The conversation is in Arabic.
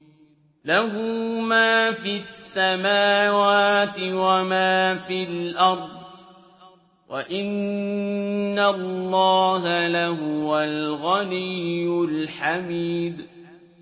لَّهُ مَا فِي السَّمَاوَاتِ وَمَا فِي الْأَرْضِ ۗ وَإِنَّ اللَّهَ لَهُوَ الْغَنِيُّ الْحَمِيدُ